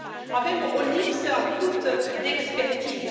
Avem o lipsă acută de expertiză.